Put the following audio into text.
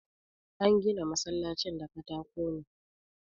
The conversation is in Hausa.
An gina masallacin da katako ne.